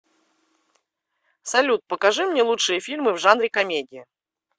салют покажи мне лучшие фильмы в жанре комедия